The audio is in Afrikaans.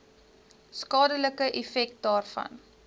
skadelike effek daarvan